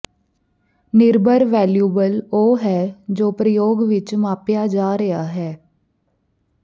ਨਿਰਭਰ ਵੈਲਿਉਬਲ ਉਹ ਹੈ ਜੋ ਪ੍ਰਯੋਗ ਵਿੱਚ ਮਾਪਿਆ ਜਾ ਰਿਹਾ ਹੈ